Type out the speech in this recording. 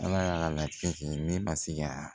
Ala y'a latigɛ ne ma se ka